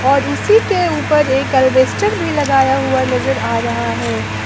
और उसी के ऊपर एक एल्वेस्टर भी लगाया हुआ नजर आ रहा है।